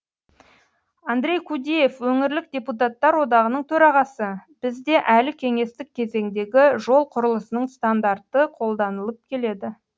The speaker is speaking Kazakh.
андрей кудеев өңірлік депутаттар одағының төрағасы бізде әлі кеңестік кезеңдегі жол құрылысының стандарты қолданылып келеді